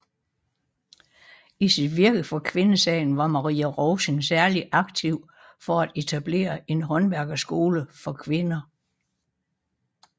I sit virke for kvindesagen var Marie Rovsing særlig aktiv for at etablere en håndværkerskole for kvinder